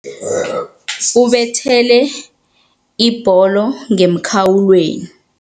Ubethele ibholo ngemkhawulweni.